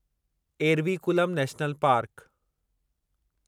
Eravikulam national park